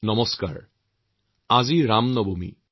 আজি পবিত্ৰ ৰাম নৱমী